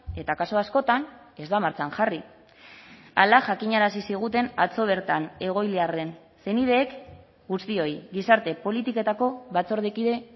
eta kasu askotan ez da martxan jarri hala jakinarazi ziguten atzo bertan egoiliarren senideek guztioi gizarte politiketako batzordekide